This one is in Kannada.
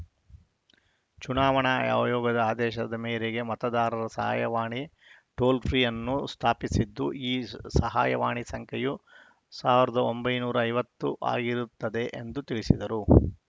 ಚುನಾವಣಾ ಆಯ್ ಯೋಗದ ಆದೇಶದ ಮೇರೆಗೆ ಮತದಾರರ ಸಹಾಯವಾಣಿ ಟೋಲ್‌ ಫ್ರೀ ಅನ್ನು ಸ್ಥಾಪಿಸಿದ್ದು ಈ ಸಹಾಯವಾಣಿ ಸಂಖ್ಯೆಯು ಸಾವಿರದ ಒಂಬೈನೂರ ಐವತ್ತು ಆಗಿರುತ್ತದೆ ಎಂದು ತಿಳಿಸಿದರು